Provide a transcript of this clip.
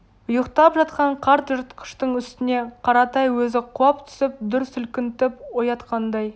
ұйықтап жатқан қарт жыртқыштың үстіне қаратай өзі құлап түсіп дүр сілкінтіп оятқандай